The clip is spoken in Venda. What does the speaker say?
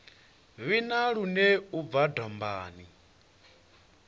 vhina lune u bva dombani